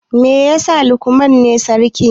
Me yasa Lukman ne sarki?